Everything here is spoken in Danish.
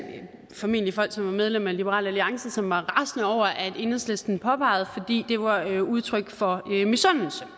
formentlig folk som er medlem af liberal alliance som var rasende over enhedslisten påpegede fordi det var udtryk for misundelse